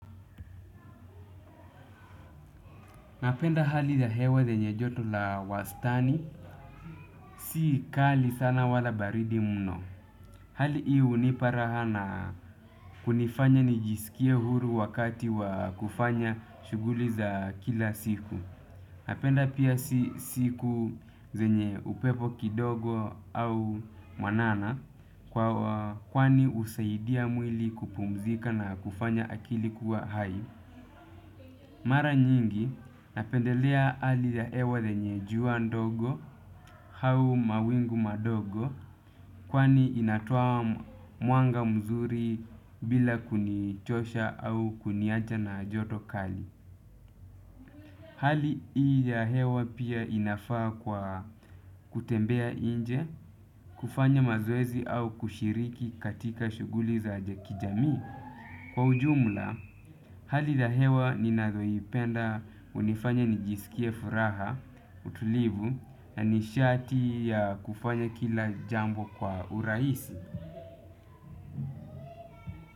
Napenda hali ya hewa zenye joto la wastani si kali sana wala baridi mno hali hii hunipa raha na kunifanya nijiskie huru wakati wa kufanya shughuli za kila siku napenda pia si siku zenye upepo kidogo au mwanana kwa kwani husaidia mwili kupumzika na kufanya akili kuwe hai. Mara nyingi napendelea hali ya hewa lenye jua ndogo hau mawingu madogo kwani inatoa muanga mzuri bila kunichosha au kuniacha na ajoto kali. Hali hii ya hewa pia inafaa kwa kutembea inje, kufanya mazoezi au kushiriki katika shughuli za ajakj kijamii. Kwa ujumla, hali la hewa ninaloipenda hunifanya nijisikie furaha utulivu na nishati ya kufanya kila jambo kwa urahisi.